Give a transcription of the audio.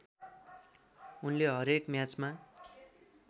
उनले हरेक म्याचमा